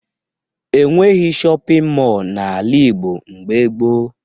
E nweghi shọpịn mọọ n'ala Igbo mgbe gboo